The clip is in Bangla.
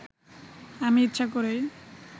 আমি ইচ্ছা করেই